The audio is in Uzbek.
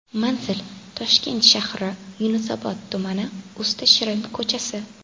Manzil: Toshkent shahri, Yunusobod tumani, Usta shirin ko‘chasi.